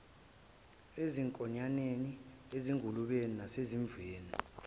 emankonyaneni ezingulubeni nasezimvini